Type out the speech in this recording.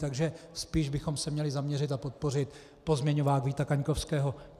Takže spíš bychom se měli zaměřit a podpořit pozměňovák Víta Kaňkovského.